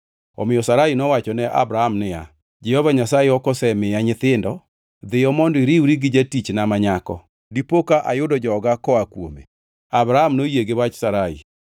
omiyo Sarai nowacho ne Abram niya, “Jehova Nyasaye ok osemiya nyithindo. Dhiyo mondo iriwri gi jatichna ma nyako; dipoka ayudo joga koa kuome.” Abram noyie gi wach Sarai.